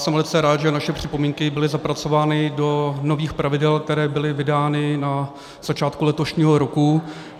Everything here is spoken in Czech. Jsem velice rád, že naše připomínky byly zapracovány do nových pravidel, která byla vydána na začátku letošního roku.